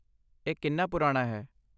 ਇਹ ਕਿੰਨਾ ਪੁਰਾਣਾ ਹੈ?